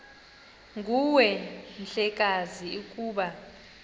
nguwe mhlekazi ukuba